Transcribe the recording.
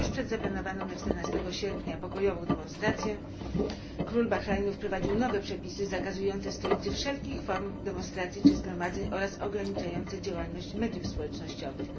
Tuż przed zaplanowaną na 14 sierpnia pokojową demonstracją król Bahrajnu wprowadził nowe przepisy zakazujące w stolicy wszelkich form demonstracji czy zgromadzeń oraz ograniczające działalność mediów społecznościowych.